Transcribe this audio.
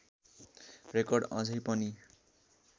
record अझै पनि